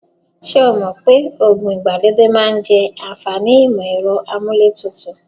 Ṣé o mọ̀ pé oògùn ìgbàlódé máa ń jẹ àǹfàní ìmọ-ẹ̀rọ amúlé tutù?